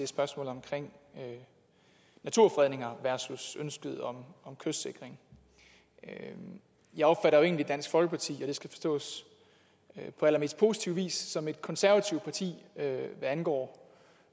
spørgsmålet omkring naturfredninger versus ønsket om kystsikring jeg jeg opfatter jo egentlig dansk folkeparti og det skal forstås på allermest positiv vis som et konservativt parti hvad angår